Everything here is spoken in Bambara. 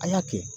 A y'a kɛ